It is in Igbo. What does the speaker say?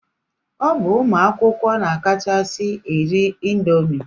Ọ bụ ụmụ akwụkwọ na-akachasi eri indomi.